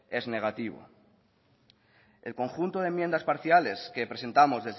es negativo el conjunto de enmiendas parciales que presentamos